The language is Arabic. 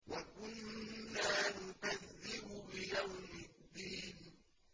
وَكُنَّا نُكَذِّبُ بِيَوْمِ الدِّينِ